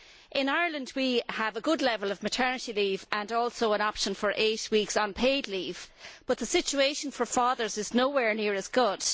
In Ireland we have a good level of maternity leave and also an option for eight weeks' unpaid leave, but the situation for fathers is nowhere near as good.